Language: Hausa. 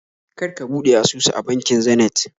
Kar ka buɗe asusu a bankin Zenith